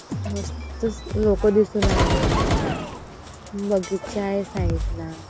मस्तच लोकं दिसू राहीलीये बगीचा आहे साईड ला.